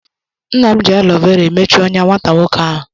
Nna m ji alo vera emechi ọ́nyá nwata nwoke ahụ.